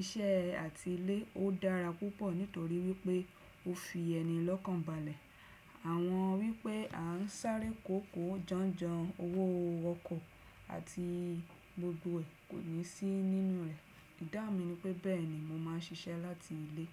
iṣẹ́ àti ilé ó dára púpọ̀ nítorí wípé o fi ẹni lọ́kànbalẹ̀. Àwọn wípé a ń sáré kòókòó jánjàn owó ọkọ̀ àti gbogbo ẹ́ kò ní sí nínú rẹ̀. Ìdáhun mi ni pé bẹ́ẹ̀ni mo máà ń ṣiṣẹ́ láti ilé.